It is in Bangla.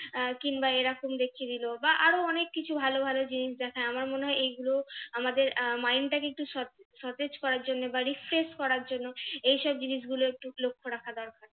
আহ কিংবা এরকম দেখিয়ে দিলো বা আরো অনেক কিছু ভালো ভালো জিনিস দেখায় আমার মনে হয় এইগুলো আমাদের mind টাকে একটু সতেজ করার জন্য বা refresh করার জন্য এইসব জিনিসগুলো একটু লক্ষ্য রাখা দরকার।